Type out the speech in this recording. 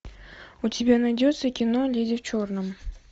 у тебя найдется кино леди в черном